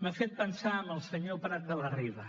m’ha fet pensar en el senyor prat de la riba